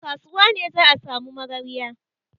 A kasuwa ne za a sami magarya.